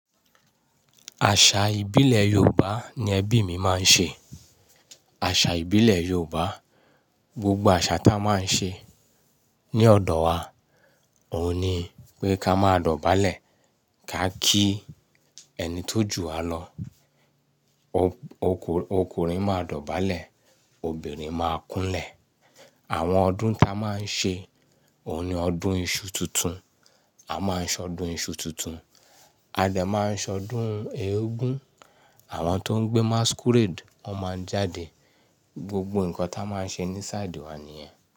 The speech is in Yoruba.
Àṣà ìbílẹ̀ Yorùbá ni ẹbí mi máa ń ṣe. Àṣà ìbílẹ̀ Yorùbá, gbogbo àṣà tá a máa ń ṣe ní ọ̀dọ̀ wa òun ni pé ká máa dọ̀bálẹ̀, ká kí ẹni tó ju wa lọ. O-ọku-ọkùnrin máa dọ̀bálẹ̀, obìnrin máa kúnlẹ̀. Àwọn ọdún tá a máa ń ṣe òun ni ọdún iṣu tuntun, a máa ṣọdún iṣu tuntun, a dẹ̀ máa ṣọdún eégún, àwọn tó ń gbé masquerade ó máa jáde. Gbogbo nǹkan tá a máa ń ṣe ní sáàdì wa nìyẹn.